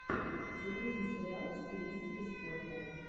загрузи сериал в стилистике спорта